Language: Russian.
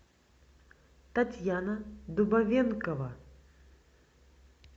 татьяна дубовенкова